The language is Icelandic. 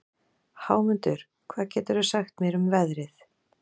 Hámundur, hvað geturðu sagt mér um veðrið?